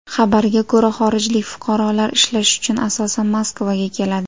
Xabarga ko‘ra, xorijlik fuqarolar ishlash uchun asosan Moskvaga keladi.